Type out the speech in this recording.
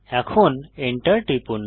এখন Enter টিপুন